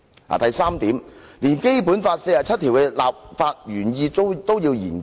第三，連《基本法》第四十七條的立法原意都要研究？